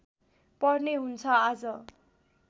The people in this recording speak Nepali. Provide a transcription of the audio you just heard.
पर्ने हुन्छ आज